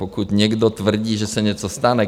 Pokud někdo tvrdí, že se něco stane...